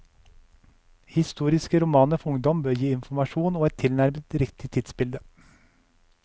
Historiske romaner for ungdom bør gi informasjon og et tilnærmet riktig tidsbilde.